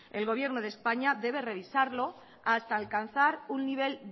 el gobierno de españa debe revisarlo hasta alcanzar un nivel